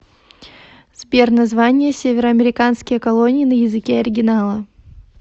сбер название североамериканские колонии на языке оригинала